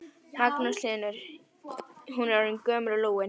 Magnús Hlynur: Hún er orðin gömul og lúin?